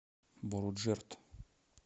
боруджерд